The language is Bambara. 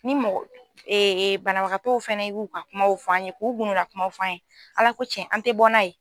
Ni mɔgɔ ee banabagatow fɛnɛ y'u ban kumaw fɔ an ye k'u gundo lakumaw fɔ an ye ala ko cɛn an te bɔ n'a ye